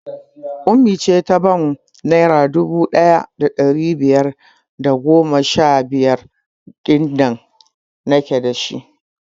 Ummi ce ta bank naira dubu ɗaya da ɗari biyar da goma sha biyar ɗin da nake dashi